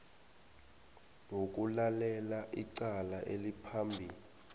wokulalela icala eliphambi